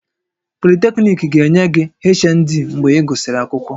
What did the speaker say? Polytechnic ga-enye gị HND mgbe ị gụsịrị akwụkwọ